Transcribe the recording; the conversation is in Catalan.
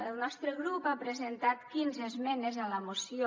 el nostre grup ha presentat quinze esmenes a la moció